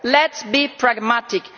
Let us be pragmatic.